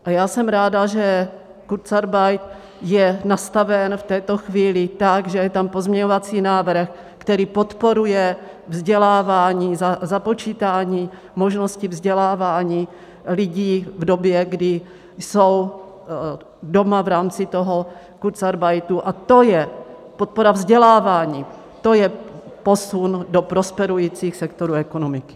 A já jsem ráda, že kurzarbeit je nastaven v této chvíli tak, že je tam pozměňovací návrh, který podporuje vzdělávání, započítání možnosti vzdělávání lidí v době, kdy jsou doma v rámci toho kurzarbeitu, a to je podpora vzdělávání, to je posun do prosperujících sektorů ekonomiky.